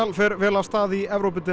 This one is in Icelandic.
fer vel af stað í